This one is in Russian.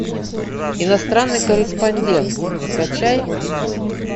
иностранный корреспондент скачай